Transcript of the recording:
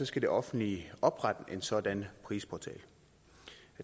skal det offentlige oprette en sådan prisportal